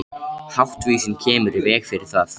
Háttvísin kemur í veg fyrir það.